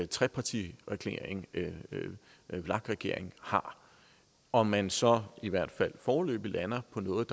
trepartiregering vlak regeringen har og man så i hvert fald foreløbig lander på noget